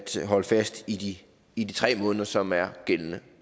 holde fast i i de tre måneder som er gældende